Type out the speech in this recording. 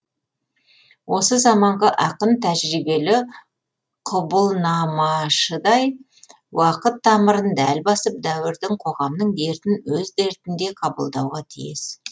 осы заманғы ақын тәжірибелі құбылнамашыдай уақыт тамырын дәл басып дәуірдің қоғамның дертін өз дертіндей қабылдауға тиіс